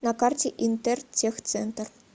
на карте интертехцентр